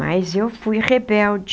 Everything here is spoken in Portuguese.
Mas eu fui rebelde.